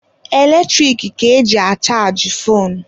Eletrik ka eji achajị foonu.